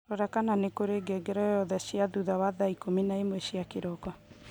Rora kana nĩ kũrĩ ngengere oyothr cia thutha wa thaa ikũmi na ĩmwe cia kĩroko